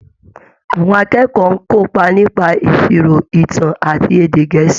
Àwọn akẹ́kọ̀ọ́ ń kọ́ nípa ìṣirò, ìtàn àti èdè Gẹ̀ẹ́sì.